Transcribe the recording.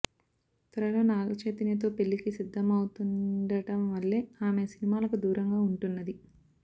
త్వరలో నాగచైతన్యతో పెళ్లికి సిద్ధమవుతుండం వల్లే ఆమె సినిమాలకు దూరంగా ఉంటున్నది